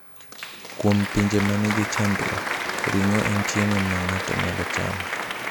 Kuom pinje ma nigi chandruok, ring’o en chiemo ma ng’ato nyalo chamo.